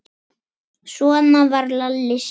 Svona var Lalli Sig.